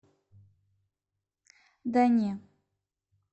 да не